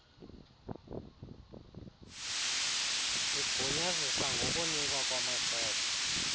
igunyazisa ngokunikwa kwamacebo